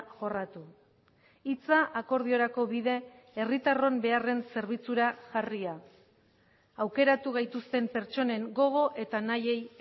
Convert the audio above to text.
jorratu hitza akordiorako bide herritarron beharren zerbitzura jarria aukeratu gaituzten pertsonen gogo eta nahiei